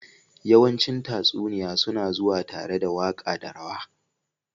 yawancin tatsuniya suna zuwa tare da waƙa da rawa.